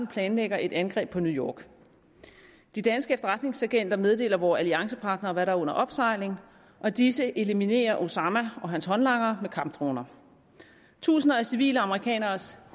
planlægger et angreb på new york de danske efterretningsagenter meddeler vore alliancepartnere hvad der er under opsejling og disse eliminerer osama og hans håndlangere med kampdroner tusinder af civile amerikaneres